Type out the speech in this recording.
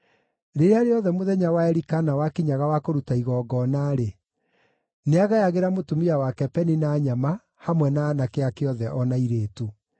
Rĩrĩa rĩothe mũthenya wa Elikana wakinyaga wa kũruta igongona-rĩ, nĩagayagĩra mũtumia wake Penina nyama, hamwe na aanake ake othe o na airĩtu.